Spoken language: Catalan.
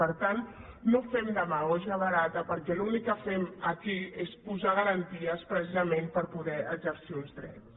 per tant no fem demagògia barata perquè l’únic que fem aquí és posar garanties precisament per poder exercir uns drets